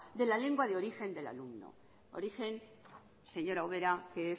de la lengua de origen del alumno origen señora ubera que